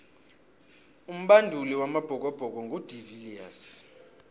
umbanduli wamabhokobhoko ngu de viliers